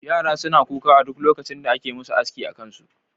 yara suna kuka a duk lokacin da ake musu aski akansu